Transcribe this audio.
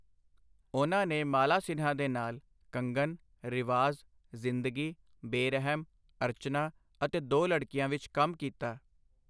ਉਨ੍ਹਾਂ ਨੇ ਮਾਲਾ ਸਿਨਹਾ ਦੇ ਨਾਲ ਕੰਗਨ, ਰਿਵਾਜ਼, ਜਿੰਦਗੀ, ਬੇਰਹਿਮ, ਅਰਚਨਾ ਅਤੇ ਦੋ ਲੜਕੀਆਂ ਵਿੱਚ ਕੰਮ ਕੀਤਾ।